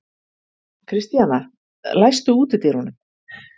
Kristíana, læstu útidyrunum.